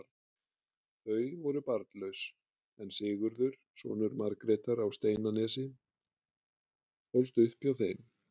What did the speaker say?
Þau voru barnlaus, en Sigurður, sonur Margrétar á Steinanesi, ólst upp hjá þeim.